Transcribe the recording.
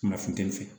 Kuma funteni fɛ